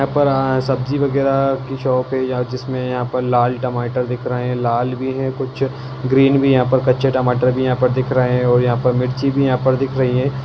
यहाँ पर अ सब्जी वगेरा की शॉप है यहाँ जिसमे यहाँ पर लाल टमाटर दिख रहे है लाल भी है कुछ ग्रीन भी कच्चे टमाटर भी यहाँ पर दिख रहे है और यहाँ पर मिर्ची भी यहाँ पर दिख रही है।